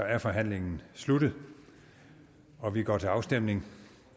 er forhandlingen sluttet og vi går til afstemning